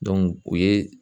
o ye